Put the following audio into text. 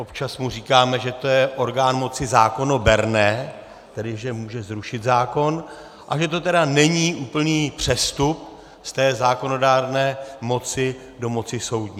Občas mu říkáme, že to je orgán moci zákonoberné, tedy že může zrušit zákon, a že to tedy není úplný přestup z té zákonodárné moci do moci soudní.